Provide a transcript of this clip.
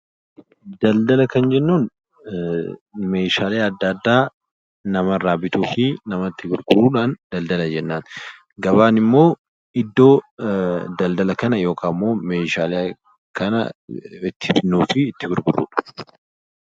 Daldaala kan jennuun meeshaalee adda addaa namarraa bituu fi namatti gurguruu jechuudha. Gabaa jechuun immoo iddoo Daldaala kana yookiin iddoo meeshaa kana itt binnuu fi gurgurrudha.